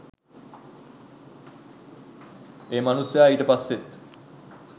ඒ මනුස්සයා ඊට පස්සෙත්